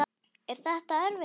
Er þetta erfitt?